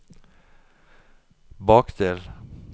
bakdel